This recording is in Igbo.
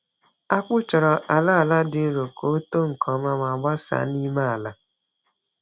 Akpụ chọrọ ala ala dị nro ka ọ too nke ọma ma gbasaa n’ime ala.